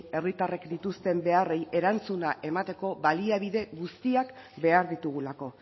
herritarrek dituzten beharrei erantzuna emateko baliabide guztiak behar ditugulako